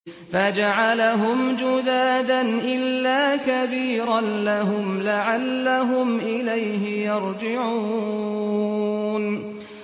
فَجَعَلَهُمْ جُذَاذًا إِلَّا كَبِيرًا لَّهُمْ لَعَلَّهُمْ إِلَيْهِ يَرْجِعُونَ